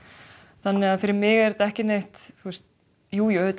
þannig að fyrir mig er þetta ekkert jújú